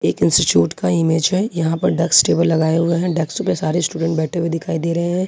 एक इंस्टीट्यूट का इमेज है यहां पर डस्क टेबल लगाए हुए हैं डक्स पे सारे स्टूडेंट बैठे हुए दिखाई दे रहे हैं।